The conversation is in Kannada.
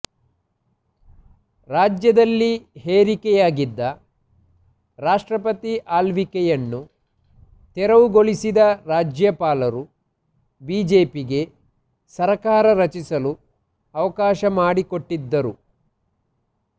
ರಾಜ್ಯದಲ್ಲಿ ಹೇರಿಕೆಯಾಗಿದ್ದ ರಾಷ್ಟ್ರಪತಿ ಆಳ್ವಿಕೆಯನ್ನು ತೆರವುಗೊಳಿಸಿದ ರಾಜ್ಯಪಾಲರು ಬಿಜೆಪಿಗೆ ಸರ್ಕಾರ ರಚಿಸಲು ಅವಕಾಶ ಮಾಡಿಕೊಟ್ಟಿದ್ದರು